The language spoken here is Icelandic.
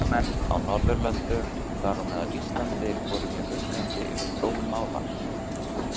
Ráðamenn á Norðurlöndum, þar á meðal Íslandi, voru mjög uggandi yfir þróun mála.